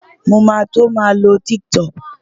Mo máa tó máa lo TikTok.